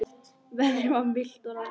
Veðrið var milt og rakt.